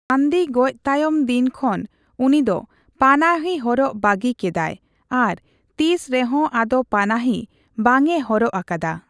ᱜᱟᱱᱫᱷᱤ ᱜᱚᱡ ᱛᱟᱭᱚᱢ ᱫᱤᱱ ᱠᱷᱚᱱ ᱩᱱᱤᱫᱚ ᱯᱟᱱᱟᱦᱤ ᱦᱚᱨᱚᱜ ᱵᱟᱹᱜᱤ ᱠᱮᱫᱟᱭ ᱟᱨ ᱛᱤᱥ ᱨᱮᱦᱚᱸ ᱟᱫᱚ ᱯᱟᱱᱟᱦᱤ ᱵᱟᱝᱮ ᱦᱚᱨᱚᱜ ᱟᱠᱟᱫᱟ ᱾